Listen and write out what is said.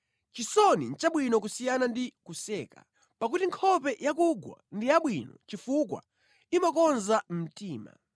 Chisoni nʼchabwino kusiyana ndi kuseka, pakuti nkhope yakugwa ndi yabwino chifukwa imakonza mtima.